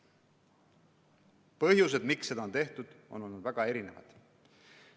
Põhjused, miks seda on tehtud, on olnud väga erinevad.